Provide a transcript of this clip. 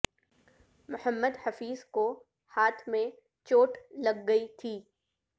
محمد حفیظ کو ہاتھ میں چوٹ لگ گئی تھی